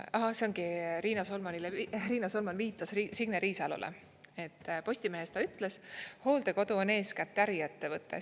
Ahah, see ongi, Riina Solman viitas Signe Riisalole, et Postimehes ta ütles: "Hooldekodu on eeskätt äriettevõte.